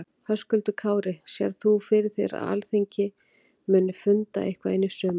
Höskuldur Kári: Sérð þú fyrir þér að Alþingi muni funda eitthvað inn í sumarið?